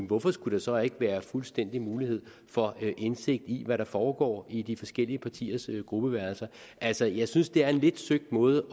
hvorfor skulle der så ikke være fuldstændig mulighed for indsigt i hvad der foregår i de forskellige partiers gruppeværelser altså jeg synes det er en lidt søgt måde